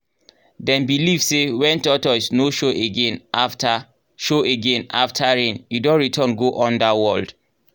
dem believe say when tortoise no show again after show again after rain e don return go underworld.